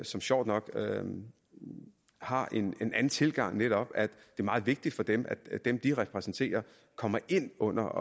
som sjovt nok har en anden tilgang netop at det er meget vigtigt for dem at dem de repræsenterer kommer ind under